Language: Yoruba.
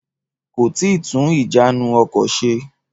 Kò tíì tún ìjánu ọkọ̀ se.